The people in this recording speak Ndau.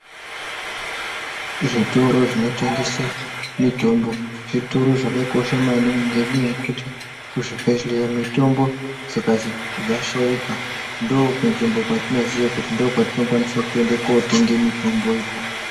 Zvitoro zvinotengese mitombo zvitoro zvakakosha maningi nenyaya yekuti kizvibhedhlera mitomba dzikazi dzashaika ndokunzvimbo kwatinoziya kuti ndokwatinokwanisa kutoende kotenge mitombo ikona.